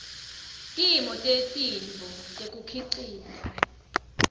timo tetintfo tekukhicita